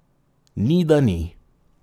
Ni, da ni!